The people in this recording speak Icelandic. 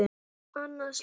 Annað slys.